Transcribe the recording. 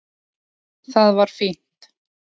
Það var fínt.